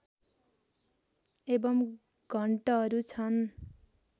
एवम् घण्टहरू छन्